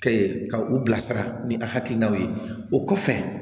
Kɛ ka u bilasira ni a hakilinaw ye o kɔfɛ